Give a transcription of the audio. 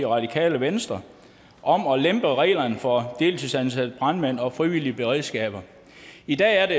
radikale venstre om at lempe reglerne for deltidsansatte brandmænd og frivillige beredskaber i dag er det